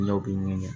Ne b'i ɲini